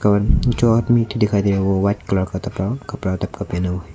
और जो आदमी दिखाई दे रहा है वो व्हाइट कलर का कपड़ा पेहना हुआ--